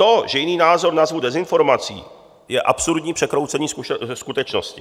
To, že jiný názor nazvu dezinformací, je absurdní překroucení skutečnosti.